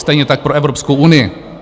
Stejně tak pro Evropskou unii.